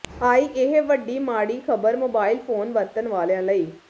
ਆਈ ਇਹ ਵੱਡੀ ਮਾੜੀ ਖਬਰ ਮੋਬਾਈਲ ਫੋਨ ਵਰਤਣ ਵਾਲਿਆਂ ਲਈ